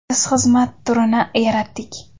Biz xizmat turini yaratdik.